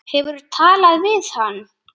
Hefurðu talað við hann?